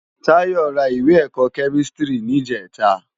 Tayo rá iwé èkò kèmistiri nijètâ